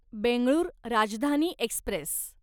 Bengaluru Rajdhani Express